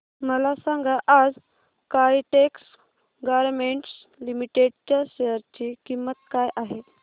मला सांगा आज काइटेक्स गारमेंट्स लिमिटेड च्या शेअर ची किंमत काय आहे